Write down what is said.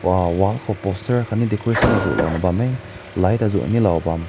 wa wall ko poster aakat decoration aazu na lao bam meh light aazu ne lao bam.